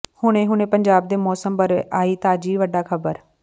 ਹੁਣੇ ਹੁਣੇ ਪੰਜਾਬ ਦੇ ਮੌਸਮ ਬਾਰੇ ਆਈ ਤਾਜਾ ਵੱਡੀ ਖਬਰ